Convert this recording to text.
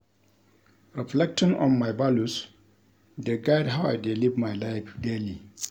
Reflecting on my values dey guide how I dey live my life daily.